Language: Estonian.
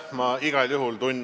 Aitäh!